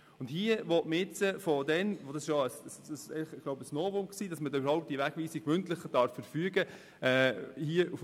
Es war damals ein Novum, dass man Wegweisungen mündlich verfügen darf.